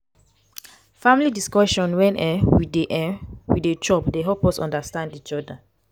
family discussion wen um we dey um we dey chop dey help us understand each oda.